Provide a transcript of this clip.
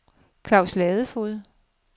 Claus Ladefoged